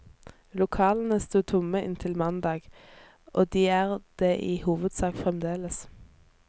Lokalene sto tomme inntil mandag, og de er det i hovedsak fremdeles.